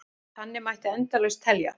Þannig mætti endalaust telja.